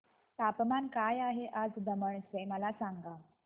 तापमान काय आहे आज दमण चे मला सांगा